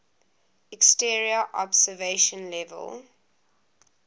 exterior observation level